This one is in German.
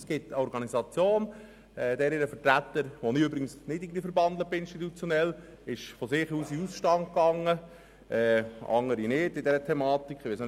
Es gibt eine Organisation, mit welcher ich im Übrigen institutionell nicht verbandelt bin, deren Vertreter in diesem Zusammenhang in den Ausstand getreten ist, im Gegensatz zu andern, die dies nicht getan haben.